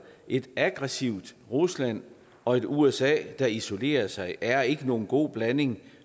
et aggressivt rusland og et usa der isolerer sig er ikke nogen god blanding